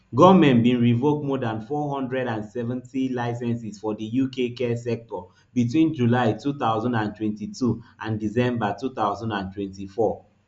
goment bin revoke more dan four hundred and seventy licences for di uk care sector between july two thousand and twenty-two and december two thousand and twenty-four